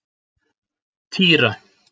Týra